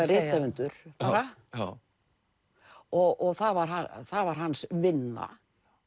rithöfundur bara og það var það var hans vinna